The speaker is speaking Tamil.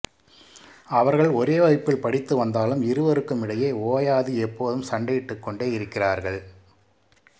அவர்கள் ஒரே வகுப்பில் படித்து வந்தாலும் இருவருக்கும் இடையே ஓயாது எப்போதும் சண்டையிட்டுக் கோண்டே இருக்கிறார்கள்